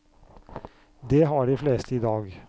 Det har de fleste i dag.